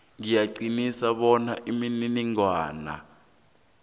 ngiyaqinisa bona imininingwana